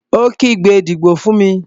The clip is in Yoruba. Ó kígbe, "Dìbò fún mi!"